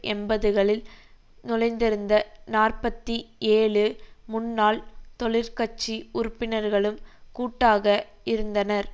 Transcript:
எண்பதுகளில் நுழைந்திருந்த நாற்பத்தி ஏழுமுன்னாள் தொழிற்கட்சி உறுப்பினர்களும் கூட்டாக இருந்தனர்